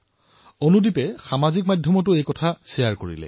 অনুদীপে এই সংকল্পৰ বিষয়ে ছচিয়েল মিডিয়াত বিনিময় কৰিলে